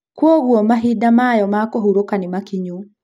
Kwogũo mahinda mayo ma kũhuroka nĩ makinyu.